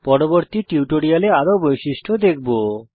পরবর্তী টিউটোরিয়ালে আরো বৈশিষ্ট্য দেখব